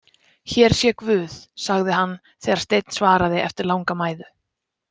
Hér sé guð, sagði hann þegar Steinn svaraði eftir langa mæðu.